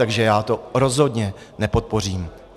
Takže já to rozhodně nepodpořím.